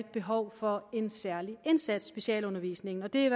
behov for en særlig indsats i specialundervisningen og det er